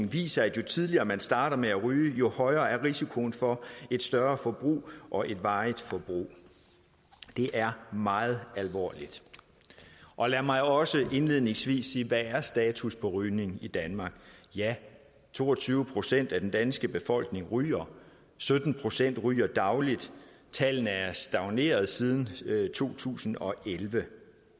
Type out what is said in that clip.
viser at jo tidligere man starter med at ryge jo højere er risikoen for et større forbrug og et varigt forbrug det er meget alvorligt og lad mig også indledningsvis sige hvad er status på rygning i danmark to og tyve procent af den danske befolkning ryger sytten procent ryger dagligt tallene er stagneret siden to tusind og elleve